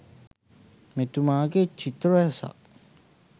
මෙතුමාගේ චිත්‍ර රැසක්